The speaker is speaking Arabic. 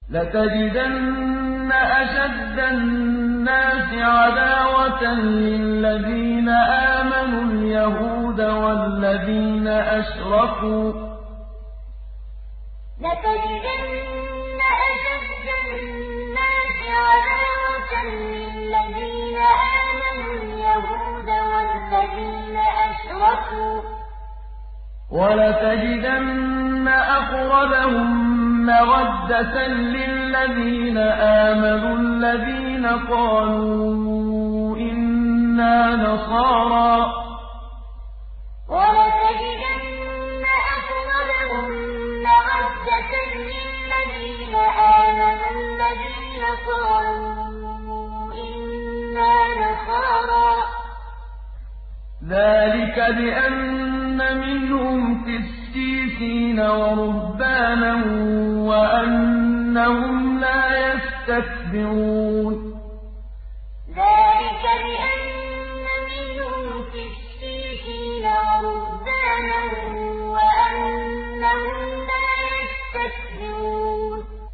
۞ لَتَجِدَنَّ أَشَدَّ النَّاسِ عَدَاوَةً لِّلَّذِينَ آمَنُوا الْيَهُودَ وَالَّذِينَ أَشْرَكُوا ۖ وَلَتَجِدَنَّ أَقْرَبَهُم مَّوَدَّةً لِّلَّذِينَ آمَنُوا الَّذِينَ قَالُوا إِنَّا نَصَارَىٰ ۚ ذَٰلِكَ بِأَنَّ مِنْهُمْ قِسِّيسِينَ وَرُهْبَانًا وَأَنَّهُمْ لَا يَسْتَكْبِرُونَ ۞ لَتَجِدَنَّ أَشَدَّ النَّاسِ عَدَاوَةً لِّلَّذِينَ آمَنُوا الْيَهُودَ وَالَّذِينَ أَشْرَكُوا ۖ وَلَتَجِدَنَّ أَقْرَبَهُم مَّوَدَّةً لِّلَّذِينَ آمَنُوا الَّذِينَ قَالُوا إِنَّا نَصَارَىٰ ۚ ذَٰلِكَ بِأَنَّ مِنْهُمْ قِسِّيسِينَ وَرُهْبَانًا وَأَنَّهُمْ لَا يَسْتَكْبِرُونَ